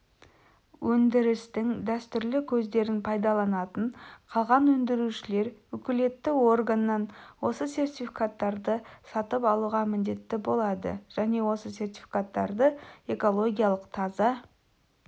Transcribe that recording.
өндірістің дәстүрлі көздерін пайдаланатын қалған өндірушілер укілетті органнан осы сертификаттарды сатып алуға міндетті болады және осы сертификаттарды экологиялық таза